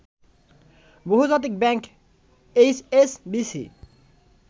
বহুজাতিক bank HSBC